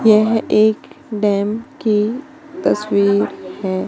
यह एक डैम की तस्वीर है।